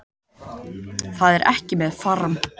Það er ekki með farm